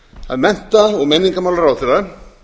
að mennta og menningarmálaráðherra